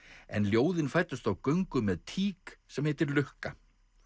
en ljóðin fæddust á göngu með tík sem heitir lukka